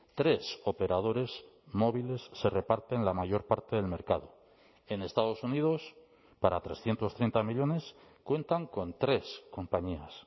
tres operadores móviles se reparten la mayor parte del mercado en estados unidos para trescientos treinta millónes cuentan con tres compañías